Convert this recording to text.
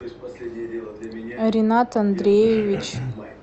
ринат андреевич